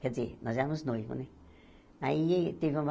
Quer dizer, nós éramos noivos, né? Aí teve uma